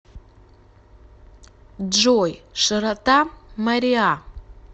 джой широта мориа